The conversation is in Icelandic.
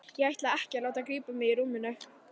Ég ætla ekki að láta grípa mig í rúminu.